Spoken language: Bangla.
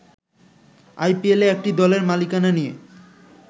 আইপিএলে একটি দলের মালিকানা নিয়ে